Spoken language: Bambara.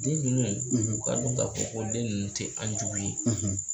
Den ninnu u k'a dɔn k'a fɔ ko den ninnu tɛ an jugu ye